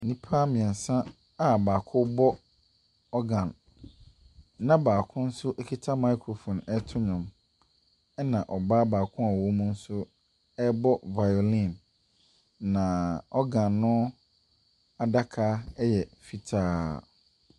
Nnipa mmeɛnsa a baako bɔ organ, na baako nso kita microphone reto nnwom, ɛnna ɔbaa baako nso a ɔwom nso rebɔ violin, na organ no adaka yɛ fitaa.